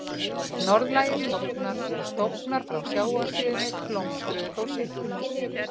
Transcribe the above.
Norðlægir stofnar og stofnar frá sjávarsíðunni blómstruðu þó seinna.